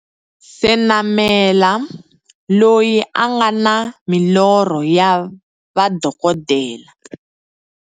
Senamela, loyi a nga na milorho ya va dokodela.